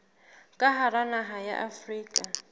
ka hara naha ya afrika